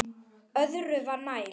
Öðru var nær.